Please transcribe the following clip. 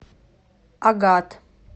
агат